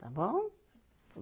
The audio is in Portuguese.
Está bom?